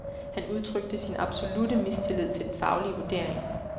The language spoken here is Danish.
Han udtrykte sin absolutte mistillid til den faglige vurdering.